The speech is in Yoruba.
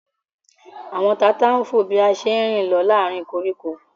Àwọn tata ń fò bí a ṣe ń rìn lọ láàárín koríko